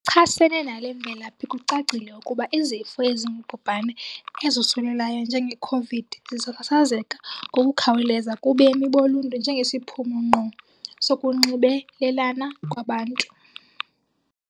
chasene nale mvelaphi kucacile ukuba izifo ezingubhubhane ezosulelayo njenge Khovidi zisasazeka ngokukhawuleza kubemi boluntu njengesiphumo ngqo sokunxibelelana kwabantu.